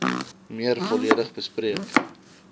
meer volledig bespreek